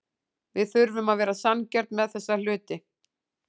Við þurfum að vera sanngjörn með þessa hluti.